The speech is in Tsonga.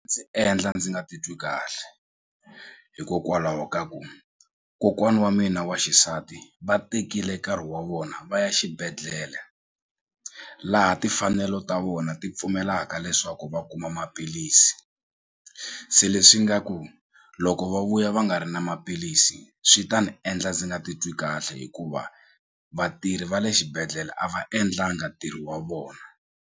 Ndzi endla ndzi nga titwi kahle hikokwalaho ka ku kokwana wa mina wa xisati va tekile nkarhi wa vona va ya xibedhlele laha timfanelo ta vona ti pfumelaka leswaku va kuma maphilisi se leswi nga ku loko va vuya va nga ri na maphilisi swi ta ni endla ndzi nga titwi kahle hikuva vatirhi va le xibedhlele a va endlanga ntirho wa vona.